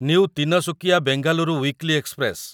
new Tinsukia Bengaluru weekly express